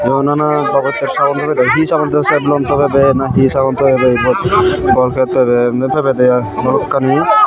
o nana babotte sagon pegede hi sagon togebe sen taw mon hi togebo na hi sagon togebo ibot colcet pebe emne pebede i balokkani.